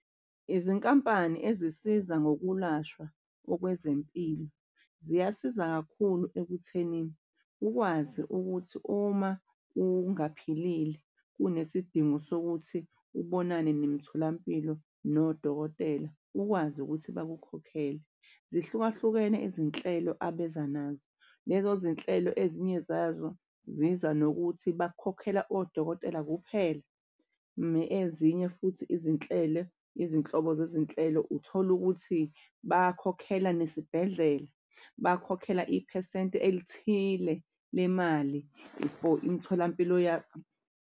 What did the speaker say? Izinkampani ezisiza ngokulashwa okwezempilo ziyasiza kakhulu ekutheni ukwazi ukuthi uma ungaphilile unesidingo sokuthi ubonane nemitholampilo nodokotela ukwazi ukuthi bakukhokhele. Zihlukahlukene izinhlelo abeza nazo lezo zinhlelo, ezinye zazo ziza nokuthi bakhokhela odokotela kuphela. Ezinye futhi izinhlelo, izinhlobo zezinhlelo uthole ukuthi bakhokhela nesibhedlela bakhokhela iphesenti elithile lemali for imitholampilo .